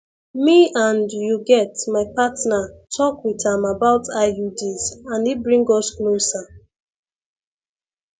me and you get my partner talk with am about iuds and e bring us closer